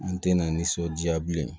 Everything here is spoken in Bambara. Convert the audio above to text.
An tɛ na nisɔndiya bilen